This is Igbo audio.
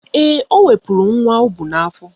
Ee, o wepuru nwa o bu n'afọ